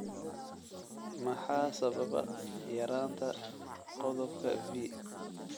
Maxaa sababa yaraanta qodobka V?